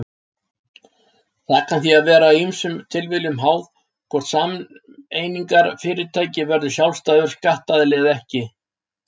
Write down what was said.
Það kann því að vera ýmsum tilviljunum háð hvort sameignarfyrirtæki verður sjálfstæður skattaðili eða ekki.